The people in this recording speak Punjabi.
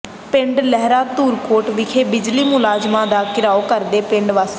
ਪਿੰਡ ਲਹਿਰਾ ਧੂਰਕੋਟ ਵਿਖੇ ਬਿਜਲੀ ਮੁਲਾਜਮਾਂ ਦਾ ਘਿਰਾਓ ਕਰਦੇ ਪਿੰਡ ਵਾਸੀ